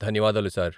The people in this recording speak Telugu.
ధన్యవాదాలు సార్ .